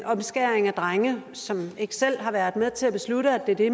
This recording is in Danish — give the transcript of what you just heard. omskæring af drenge som ikke selv har været med til at beslutte at det er det